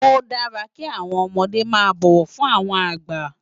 Ó dàrá ki áwòn òmòdé má bòwò fún áwòn àgbá